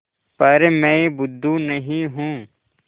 पर मैं बुद्धू नहीं हूँ